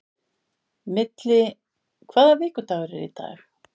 Milli, hvaða vikudagur er í dag?